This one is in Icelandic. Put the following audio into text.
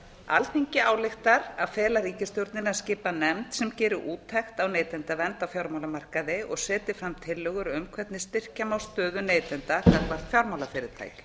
alþingi ályktar að fela ríkisstjórninni að skipa nefnd sem geri úttekt á neytendavernd á fjármálamarkaði og setji fram tillögur um hvernig styrkja má stöðu neytenda gagnvart